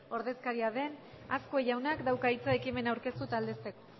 ordezkaria den azkue jaunak dauka hitza ekimena aurkeztu eta aldezteko